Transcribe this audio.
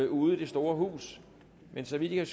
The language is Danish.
ude i det store hus men så vidt jeg